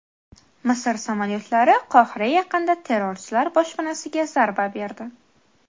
Misr samolyotlari Qohira yaqinida terrorchilar boshpanasiga zarba berdi.